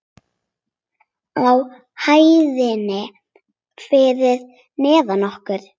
Á hæðinni fyrir neðan okkur.